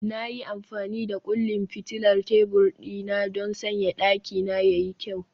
Na yi amfani da kullin fitilar tebur dina don sanya dakina ya yi kyau